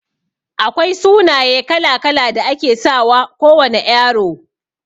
Akwai sunaye kala-kala da ake sawa kowana Ƴaro.